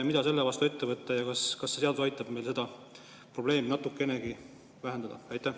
Mida selle vastu ette võtta ja kas see seadus aitab meil seda probleemi natukenegi vähendada?